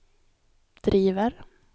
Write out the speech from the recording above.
driver